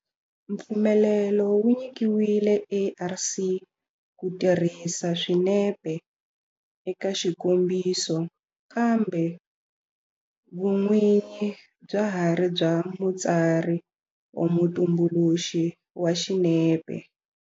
Mpfumelelo wu nyikiwile ARC ku tirhisa swinepe eka xikombiso kambe vun'winyi bya ha ri bya mutsari or mutumbuluxi wa swinepe.